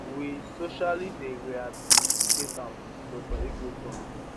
we socially dey rehabilitate am dr igwe tok